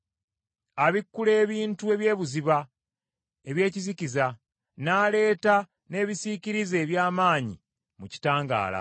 Abikkula ebintu eby’ebuziba eby’ekizikiza, n’aleeta n’ebisiikirize eby’amaanyi mu kitangaala.